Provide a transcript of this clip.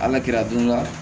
Ala kira dun la